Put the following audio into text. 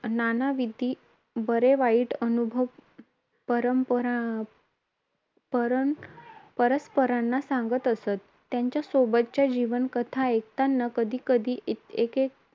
नानाविध बरेवाईट अनुभव परंपरा परंपरस्परांना सांगत असत. आपल्या सोबत्यांच्या जीवनकथा ऐकताना कधी कधी एकाएकी